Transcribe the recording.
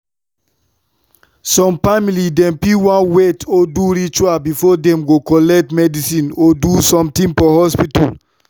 some family dem fit want wait or do ritual before dem go collect medicine or do sumtin for hospital.